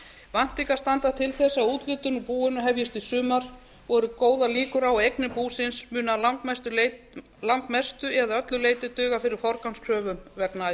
væntingar standa til þess að úthlutun úr búinu hefjist í sumar og eru góðar líkur á að eignir búsins muni að langmestu eða öllu leyti duga fyrir forgangskröfum vegna